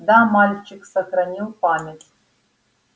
да мальчик сохранил память